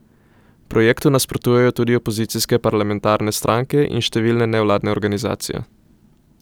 Projektu nasprotujejo tudi opozicijske parlamentarne stranke in številne nevladne organizacije.